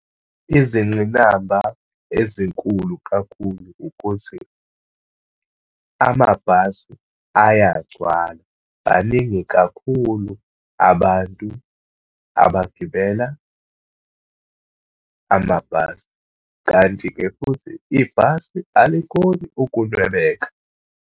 Izingqinamba ezinkulu kakhulu, ukuthi amabhasi ayagcwala, baningi kakhulu abantu abagibela amabhasi. Kanti-ke futhi ibhasi alikhoni ukunwebeka.